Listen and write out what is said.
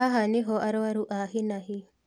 Haha nĩho arũaru a hi na hi